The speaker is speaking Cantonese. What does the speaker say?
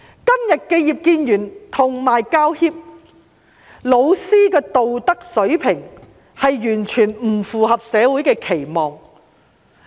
今天，葉建源議員、教協和教師的道德水平，完全不符合社會的期望。